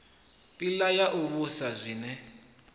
pilela na u vhusa zwiwe